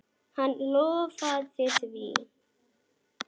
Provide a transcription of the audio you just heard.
Hann lofaði því.